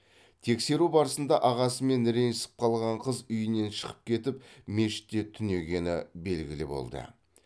тексеру барысында ағасымен ренжісіп қалған қыз үйінен шығып кетіп мешітте түнегені белгілі болды